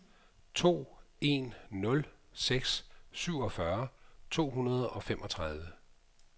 to en nul seks syvogfyrre to hundrede og femogtredive